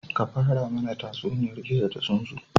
Ka fara mana tatsuniyar gizo da tsuntsu